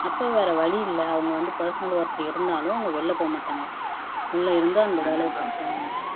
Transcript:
அப்போ வேற வழி இல்லை அவங்க வந்து பர்சனல் ஒர்க் இருந்தாலும் அவங்க வெளில போகமாட்டாங்க உள்ள இருந்து அந்த வேலைய பாத்துதான் ஆகணும்